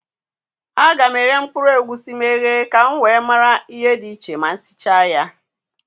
A ga m eghe mkpụrụ egwusi m eghe ka m nwe mara ihe dị iche ma sicha ya